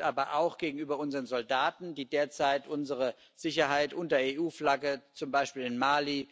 aber auch gegenüber unseren Soldaten, die derzeit unsere Sicherheit unter EU Flagge zum Beispiel in Mali,